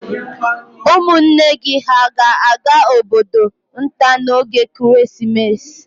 Ụmụnne gị hà ga-aga obodo nta n'oge Krismas?